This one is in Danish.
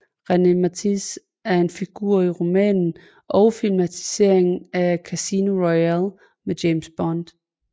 René Mathis er en figur i romanen og filmatiseringerne af Casino Royale med James Bond